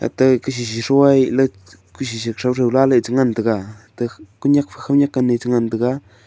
ata gasisi throih leh kusi si thow thow la ley chengan tega te kunyek fe kunyek kane chengan tega.